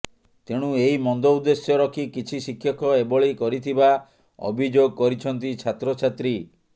ତେଣୁ ଏହି ମନ୍ଦ ଉଦ୍ଦେଶ୍ୟ ରଖି କିଛି ଶିକ୍ଷକ ଏଭଳି କରିଥିବା ଅଭିଯୋଗ କରିଛନ୍ତି ଛାତ୍ରଛାତ୍ରୀ